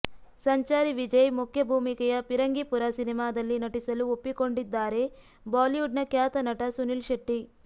ಸಂಚಾರಿ ವಿಜಯ್ ಮುಖ್ಯ ಭೂಮಿಕೆಯ ಪಿರಂಗಿಪುರ ಸಿನಿಮಾದಲ್ಲಿ ನಟಿಸಲು ಒಪ್ಪಿಕೊಂಡಿದ್ದಾರೆ ಬಾಲಿವುಡ್ನ ಖ್ಯಾತ ನಟ ಸುನಿಲ್ ಶೆಟ್ಟಿ